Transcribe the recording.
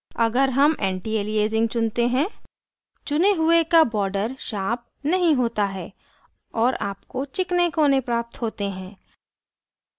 अगर हम antialiasing चुनते हैं चुने हुए का border sharp नहीं होता है और आपको चिकने कोनें प्राप्त होते हैं